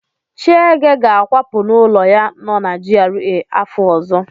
Chiege ga-akwapụ n'ụlọ ya nọ na GRA afọ ọzọ.